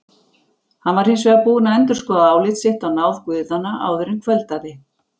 Hann var hins vegar búinn að endurskoða álit sitt á náð guðanna áður en kvöldaði.